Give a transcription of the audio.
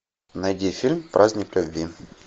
найди фильм праздник любви